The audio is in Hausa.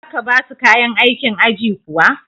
za ka ba su kayan aikin aji kuwa?